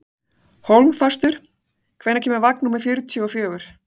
Hólmfastur, hvenær kemur vagn númer fjörutíu og fjögur?